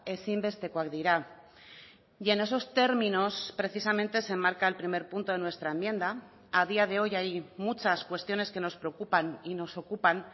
ezinbestekoak dira y en esos términos precisamente se enmarca el primer punto de nuestra enmienda a día de hoy hay muchas cuestiones que nos preocupan y nos ocupan